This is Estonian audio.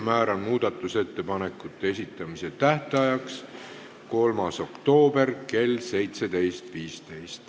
Määran muudatusettepanekute esitamise tähtajaks 3. oktoobri kell 17.15.